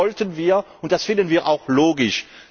Das wollten wir, und das finden wir auch logisch.